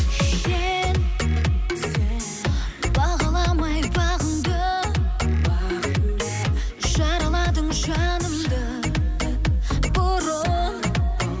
сен бағаламай бағыңды жараладың жанымды бұрын